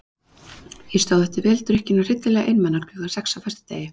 Ég stóð eftir vel drukkin og hryllilega einmana klukkan sex á föstudegi.